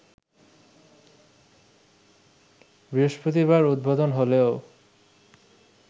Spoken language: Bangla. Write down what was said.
বৃহস্পতিবার উদ্বোধন হলেও